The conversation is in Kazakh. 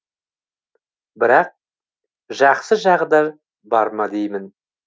бірақ жақсы жағы да бар ма деймін